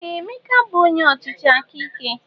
Ee! Emeka bụ onye ọchịchị aka ike.